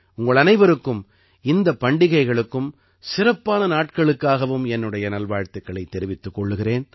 உங்களனைவருக்கும் இந்தப் பண்டிகைகளுக்கும் சிறப்பான நாட்களுக்காகவும் என்னுடைய நல்வாழ்த்துக்களைத் தெரிவித்துக் கொள்கிறேன்